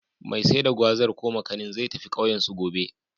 Mai sai da Gwazar/Makanin, zai tafi ƙauyensu, gobe.